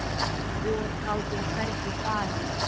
Og gátum hvergi farið.